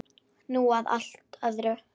Nú að allt öðru.